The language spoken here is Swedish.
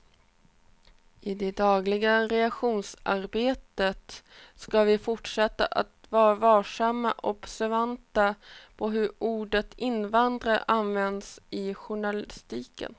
I det dagliga redaktionsarbetet ska vi fortsätta att vara varsamma och observanta på hur ordet invandrare används i journalistiken.